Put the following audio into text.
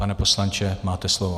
Pane poslanče, máte slovo.